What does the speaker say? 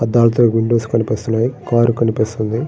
అద్దాలతో విండోస్ కనిపిస్తూ ఉన్నాయి. కార్ కనిపిస్తుంది.